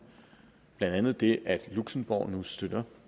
blandt andet det at luxembourg nu støtter